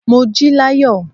Mo jí láyọ̀.